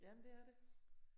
Ja men det er det